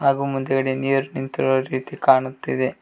ಹಾಗು ಮುಂದಗಡೆ ನೀರ ನಿಂತಿರು ರೀತಿ ಕಾಣುತ್ತಿದೆ.